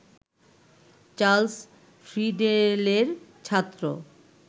Charles ফ্রিডেলের ছাত্র